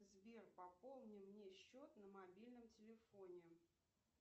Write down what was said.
сбер пополни мне счет на мобильном телефоне